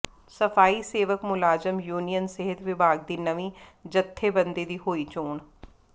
ਸਫ਼ਾਈ ਸੇਵਕ ਮੁਲਾਜ਼ਮ ਯੂਨੀਅਨ ਸਿਹਤ ਵਿਭਾਗ ਦੀ ਨਵੀਂ ਜਥੇਬੰਦੀ ਦੀ ਹੋਈ ਚੋਣ